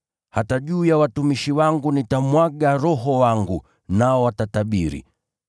Hata juu ya watumishi wangu, wanaume kwa wanawake, katika siku zile nitamimina Roho wangu, nao watatabiri.